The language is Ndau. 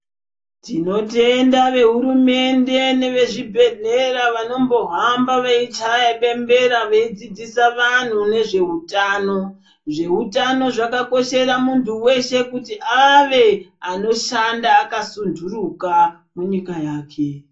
Tinotenda vehurumende nevezvibhehlera vanombohamba veichaye bembera veidzidzisa vanhu nezveutano. Zveutano zvakakoshera muntu weshe kuti ave anoshanda akasunturuka munyika yake.